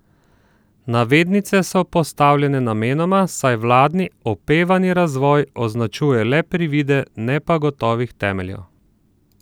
Navednice so postavljene namenoma, saj vladni opevani razvoj označuje le privide, ne pa gotovih temeljev.